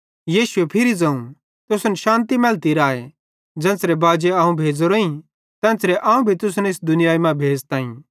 यीशुए फिरी ज़ोवं तुसन शान्ति मैलती राए ज़ेन्च़रे बाजी अवं भेज़ोरोईं तेन्च़रे अवं भी तुसन भी इस दुनियाई मां भेज़ताईं